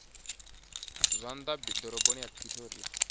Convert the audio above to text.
zwa nnḓa ḓoroboni ya pretoria